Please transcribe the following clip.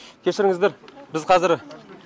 кешіріңіздер біз қазір